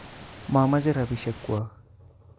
Momoche rapishek kwok